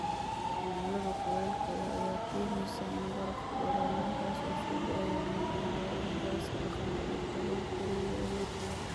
Cimilada kulaylka leh ayaa keenaysa in barafku dhalaalaan, kaas oo soo daaya methane, oo ah gaaska aqalka dhirta lagu koriyo oo awood badan.